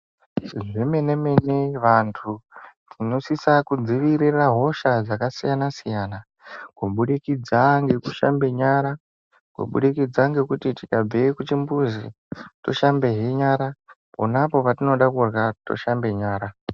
Zvemene-mene vantu tinosisa kudzivirira hosha dzakasiyana-siyana, kubudikidza ngekushamba nyara, kubudikidza ngekuti ikabveyo kuchimbuzi toshambehe nyara. Ponapo patinoda kurya toshambe nyara.